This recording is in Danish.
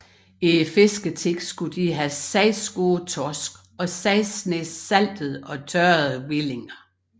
I fisketiden skulle de have 6 gode torsk og 6 snese saltede og tørrede hvillinger